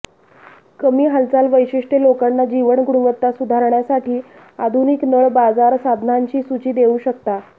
कमी हालचाल वैशिष्ट्ये लोकांना जीवन गुणवत्ता सुधारण्यासाठी आधुनिक नळ बाजार साधनांची सूची देऊ शकता